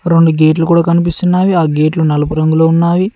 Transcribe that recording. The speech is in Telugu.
రెండు గేట్లు కూడా కనిపిస్తున్నావి ఆ గేట్లు నలుపు రంగులో ఉన్నాయి.